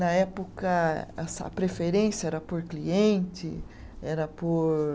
Na época, essa a preferência era por cliente, era por